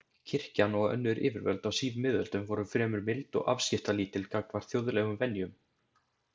Kirkjan og önnur yfirvöld á síðmiðöldum voru fremur mild og afskiptalítil gagnvart þjóðlegum venjum.